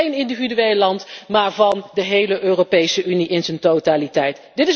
Niet van één individueel land, maar van de hele Europese Unie in haar totaliteit.